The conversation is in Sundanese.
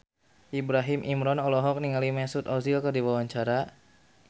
Ibrahim Imran olohok ningali Mesut Ozil keur diwawancara